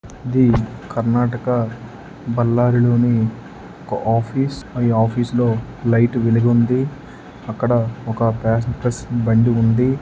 Karnataka Ballari office episode light పులిగొందు అక్కడ